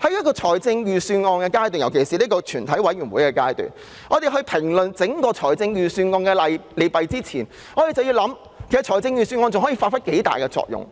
在審議預算案，尤其是進行全體委員會審議時，我們應在評論整份預算案的利弊前，考慮預算案還可以發揮多大作用。